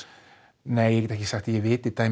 nei ég get ekki sagt að ég viti